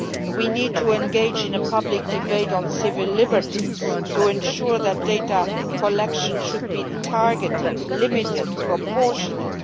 We need to engage in a public debate on civil liberties to ensure that data collection is targeted, limited, and proportionate